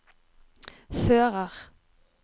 fører